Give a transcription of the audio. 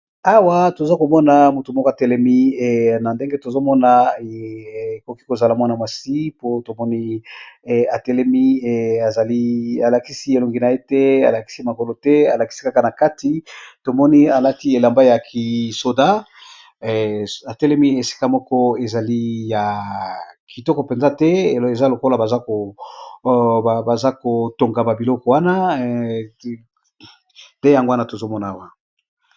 Awa tozokomona mutu moko atelemi ,nandenge atelemi nandenge tozomona ekoki kozala Mwana mwasi po tomoni atelemi alakisi elonginaye te alakisi elonginaye tebalakisi Kaka na kati tomoni alati bilamba ya ki soldat atelemi esika moko eza ya kitoko penza te, eza lokola baza KO Tonga ba biloko wana nde yango tozo Mona Awa.